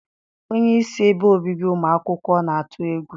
Onyeisi ebe obibi ụmụ akwụkwọ na-atụ egwu.